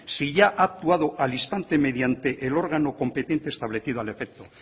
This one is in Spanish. si ya ha actuado al instante mediante el órgano competente establecido al efecto